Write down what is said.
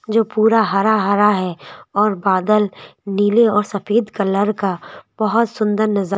जो पूरा हरा हरा है और बादल नीले और सफेद कलर का बहुत सुंदर नजा--